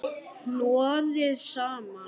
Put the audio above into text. Hnoðið saman.